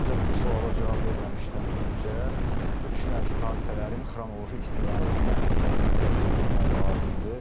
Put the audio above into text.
Ancaq bu suala cavab verməmişdən öncə düşünürəm ki, hadisələrin xronoloji istiqamətinə diqqət yetirmək lazımdır.